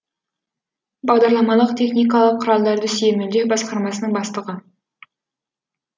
бағдарламалық техникалық құралдарды сүйемелдеу басқармасының бастығы